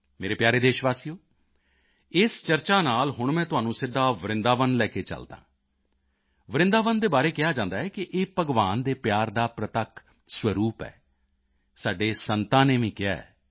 ਮੇਰੇ ਪਿਆਰੇ ਦੇਸ਼ਵਾਸੀਓ ਇਸ ਚਰਚਾ ਨਾਲ ਹੁਣ ਮੈਂ ਤੁਹਾਨੂੰ ਸਿੱਧਾ ਵਰਿੰਦਾਵਨ ਲੈ ਕੇ ਚਲਦਾ ਹੈ ਵਰਿੰਦਾਵਨ ਦੇ ਬਾਰੇ ਕਿਹਾ ਜਾਂਦਾ ਹੈ ਕਿ ਇਹ ਭਗਵਾਨ ਦੇ ਪਿਆਰ ਦਾ ਪ੍ਰਤੱਖ ਸਰੂਪ ਹੈ ਸਾਡੇ ਸੰਤਾਂ ਨੇ ਵੀ ਕਿਹਾ ਹੈ